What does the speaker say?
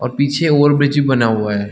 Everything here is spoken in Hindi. और पीछे ओवरब्रिज बना हुआ है।